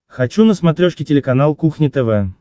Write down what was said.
хочу на смотрешке телеканал кухня тв